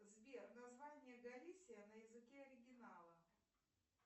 сбер название галисия на языке оригинала